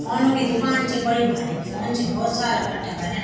फ़ोनों की दूकान च बड़ी भारिक फ़ोन च भोत सारा कट्ठा कर्यां।